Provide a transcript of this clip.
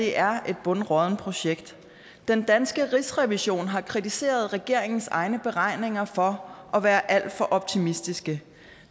er et bundråddent projekt den danske rigsrevision har kritiseret regeringens egne beregninger for at være alt for optimistiske